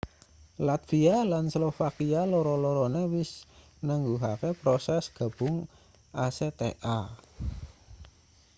latvia lan slovakia loro-lorone wis nangguhke prosese gabung acta